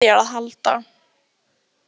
Ég þarf ekkert á þér að halda.